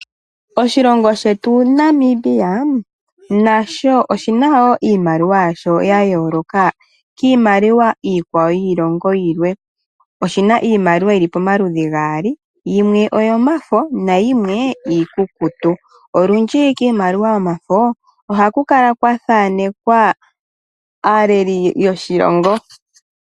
Oshilongo shetu Namibia nasho oshina wo iimaliwa yasho ya yooloka kiimaliwa iikwawo yiilongo yilwe. Oshina iimaliwa yili pamaludhi gaali, yimwe oyo mafo na yimwe iikukutu. Olundji kiimaliwa yomafo oha ku kala kwa thaanekwa aaleli yoshilongo.